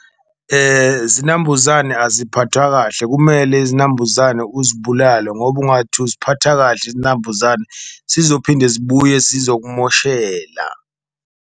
Zinambuzane aziphathwa kahle kumele izinambuzane uzibulale ngoba ungathi uziphatha kahle izinambuzane sizophinde zibuye sizokumoshela.